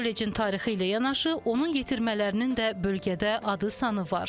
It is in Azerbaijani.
Kollecin tarixi ilə yanaşı, onun yetirmələrinin də bölgədə adı-sanı var.